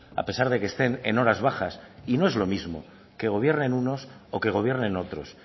a pesar de que estén en horas bajas y no es lo mismo que gobiernen unos o que gobiernen otros